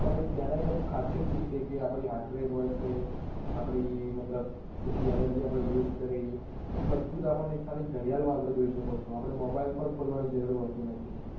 પણ તેના થી અમુક ખાસિયત બી છે કે આપની heart rate હોય છે, આપની મતલબ કેટલી energy આપણે use કરી તો એ બધું જ આપણને એક ખાલી ઘડિયાળ મારફતે જોઈ શકો છો આપણે mobile પણ ખોલવાની જરૂર હોતી નથી.